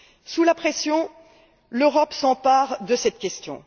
Sous la pression, l'Europe s'empare de cette question.